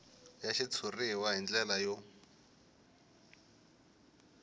ya xitshuriwa hi ndlela yo